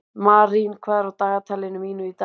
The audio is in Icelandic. Marín, hvað er á dagatalinu mínu í dag?